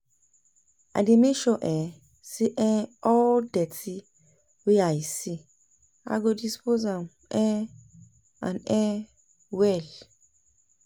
I dey mek sure um say um all di dirty wey I see i go dispose am um am um well